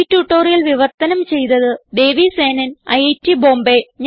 ഈ ട്യൂട്ടോറിയൽ വിവർത്തനം ചെയ്തത് ദേവി സേനൻ ഐറ്റ് ബോംബേ